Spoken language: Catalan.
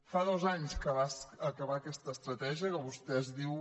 fa dos anys que va acabar aquesta estratègia que vostè diu